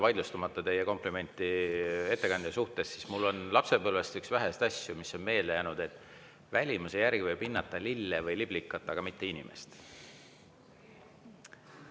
Vaidlustamata teie komplimenti ettekandja kohta, ütlen, et üks väheseid asju, mis mulle lapsepõlvest on meelde jäänud, on see, et välimuse järgi võib hinnata lille või liblikat, aga mitte inimest.